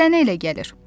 Sənə elə gəlir.